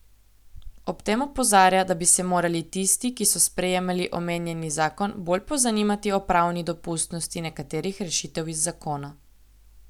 Ob tem opozarja, da bi se morali tisti, ki so sprejemali omenjeni zakon, bolj pozanimati o pravni dopustnosti nekaterih rešitev iz zakona.